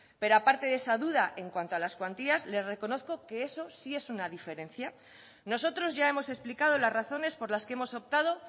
pero aparte de esa duda en cuanto a las cuantías le reconozco que eso sí es una diferencia nosotros ya hemos explicado las razones por las que hemos optado